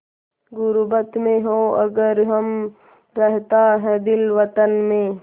ग़ुर्बत में हों अगर हम रहता है दिल वतन में